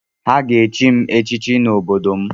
Ha ga-echi m echichi n’obodo m